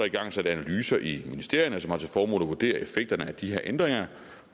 igangsat analyser i ministerierne som har til formål at vurdere effekterne af de her ændringer